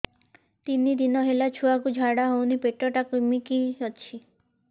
ତିନି ଦିନ ହେଲା ଛୁଆକୁ ଝାଡ଼ା ହଉନି ପେଟ ଟା କିମି କି ଅଛି